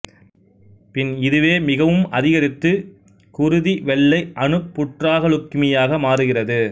பின் இதுவே மிகவும் அதிகரித்து குருதி வெள்ளை அணு புற்றாக லுக்கிமியாமாறுகிறது